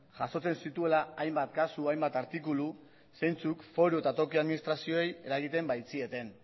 jasotzen zituela hainbat kasu hainbat artikulu zeintzuk foru eta toki administrazioei eragiten baitzieten